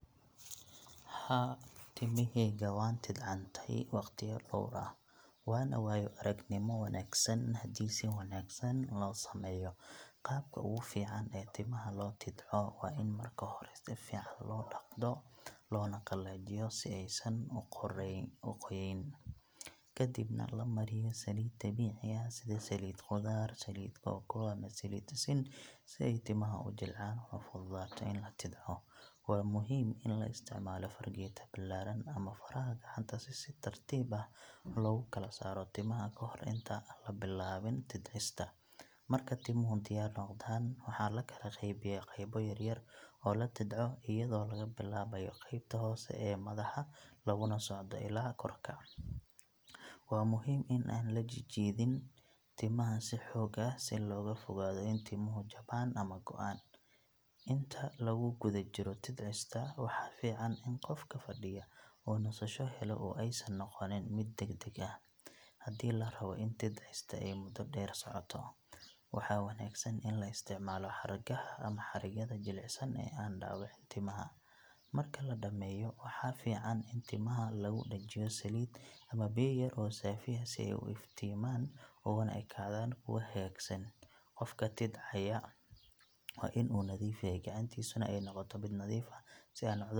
Haa, timahayga waan tidcantay waqtiyo dhowr ah, waana waayo-aragnimo wanaagsan haddii si wanaagsan loo sameeyo. Qabka ugu fiican ee timaha loo tidco waa in marka hore si fiican loo dhaqdo loona qalajiyo si aysan u qoyaneyn. Ka dibna la mariyo saliid dabiici ah sida saliid qudaar, saliid kooko ama saliid sisin si ay timaha u jilcaan una fududaato in la tidco. Waa muhiim in la isticmaalo fargeeto ballaaran ama faraha gacanta si si tartiib ah loogu kala saaro timaha ka hor intaan la bilaabin tidcista. Marka timuhu diyaar noqdaan, waxaa la kala qaybiyaa qaybo yaryar oo la tidco iyadoo laga bilaabayo qaybta hoose ee madaxa laguna socdo ilaa korka. Waa muhiim in aan la jiidin timaha si xoog ah si looga fogaado in timuhu jabaan ama go’aan. Inta lagu guda jiro tidcista, waxaa fiican in qofka fadhiya uu nasasho helo oo aysan noqonin mid degdeg ah. Haddii la rabo in tidcista ay muddo dheer socoto, waxaa wanaagsan in la isticmaalo xargaha ama xarigyada jilicsan ee aan dhaawicin timaha. Marka la dhammeeyo, waxaa fiican in timaha lagu dhajiyo saliid ama biyo yar oo saafi ah si ay u iftiimaan uguna ekaadaan kuwo hagaagsan. Qofka tidcaya waa in uu nadiif yahay gacantiisuna ay noqoto mid nadiif ah si aan cudur .